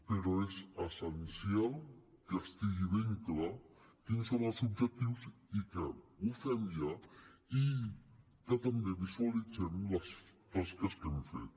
però és essencial que estigui ben clar quins són els objectius i que ho fem ja i que també visualitzem les tasques que hem fet